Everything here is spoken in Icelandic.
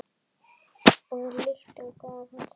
Að lyktum gaf hann sig.